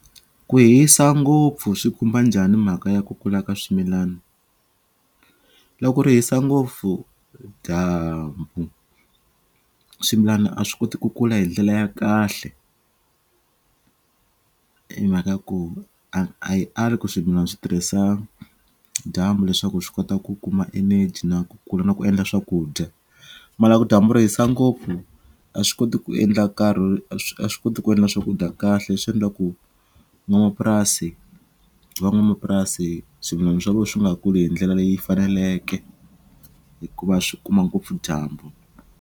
Ku hisa ngopfu swi khumba njhani mhaka ya ku kula ka swimilana? Loko ri hisa ngopfu dyambu swimilana a swi koti ku kula hi ndlela ya kahle hi mhaka ya ku a a yi ali ku swimilana swi tirhisa dyambu leswaku swi kota ku kuma energy na ku kula na ku endla swakudya ma loko dyambu ri hisa ngopfu a swi koti ku endla karhi a swi a swi koti ku endla swakudya kahle swi endla ku n'wamapurasi van'wamapurasi swimilana swa vona swi nga kuli hi ndlela leyi faneleke hikuva swi kuma ngopfu dyambu.